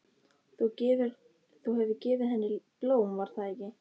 Þú hefur gefið henni blóm, var það ekki?